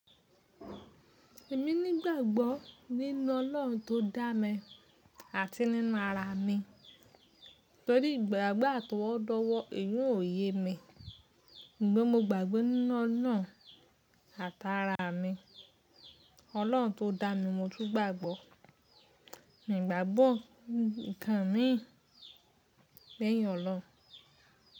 Èmi nígbàgbọ́ nínú Ọlọ́run tó dá mi àti nínú ara mi. Tórí ìgbàgbọ́ àtọwọ́dọ́wọ́, eyi oun òye mi, sugbon mo gbàgbé nínú ọ̀nà àtà ara mi. Ọlọ́run tó dá mi mo tún gbàgbọ́. Mi gbàgbọ́ nnkan mi léyìn Ọlọ́run.